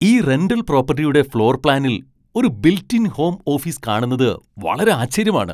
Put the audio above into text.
ഈ റെന്റൽ പ്രോപ്പട്ടിയുടെ ഫ്ലോർ പ്ലാനിൽ ഒരു ബിൽറ്റ് ഇൻ ഹോം ഓഫീസ് കാണുന്നത് വളരെ ആശ്ചര്യമാണ്.